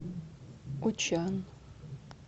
учан